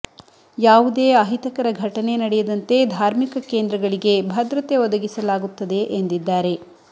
ಯಾವುದೇ ಅಹಿತಕರ ಘಟನೆ ನಡೆಯದಂತೆ ಧಾರ್ಮಿಕ ಕೇಂದ್ರಗಳಿಗೆ ಭದ್ರತೆ ಒದಗಿಸಲಾಗುತ್ತದೆ ಎಂದಿದ್ದಾರೆ